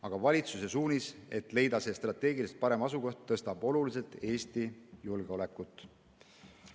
Aga valitsuse suunis, et leida see strateegiliselt parem asukoht, tõstab oluliselt Eesti julgeolekut.